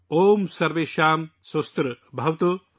اوم سرویشم سواستیربھواتو